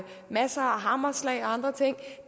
masser af hammerslag og andre ting